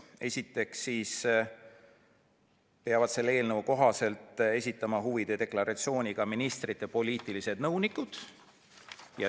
Esiteks peavad selle eelnõu kohaselt esitama huvide deklaratsiooni ka ministrite poliitilised nõunikud.